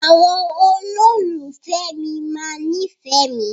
Àwọn olólùfẹ́ mi máa nífẹ̀ẹ́ mi.